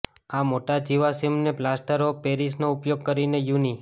આ મોટા જીવાશ્મિને પ્લાસ્ટર ઓફ પેરિસનો ઉપયોગ કરીને યુનિ